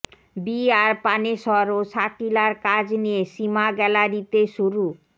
B R Panesar ও শাকিলার কাজ নিয়ে সিমা গ্যালারিতে শুরু